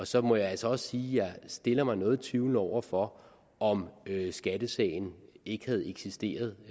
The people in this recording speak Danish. så må jeg altså også sige at jeg stiller mig noget tvivlende over for om skattesagen ikke havde eksisteret